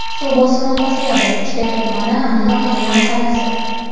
Suv bosimi pasayadi: Uchtepa tumani: Abdulla Qodiriy mahallasi.